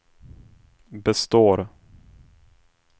består